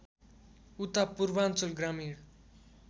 उता पूर्वाञ्चल ग्रामीण